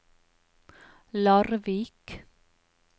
Larvik